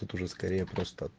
тут уже скорее просто